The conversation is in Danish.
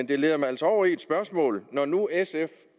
det leder mig altså over i et spørgsmål når nu sf